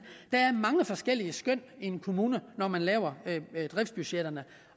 der er mange forskellige skøn i en kommune når man laver driftsbudgetterne